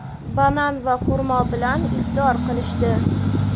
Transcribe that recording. banan va xurmo bilan iftor qilishdi.